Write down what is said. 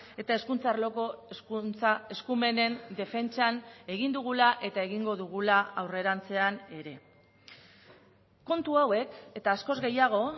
eta hezkuntza arloko hezkuntza eskumenen defentsan egin dugula eta egingo dugula aurrerantzean ere kontu hauek eta askoz gehiago